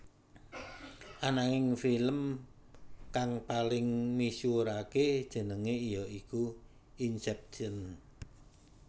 Ananging film kang paling misuwuraké jenengé ya iku Inception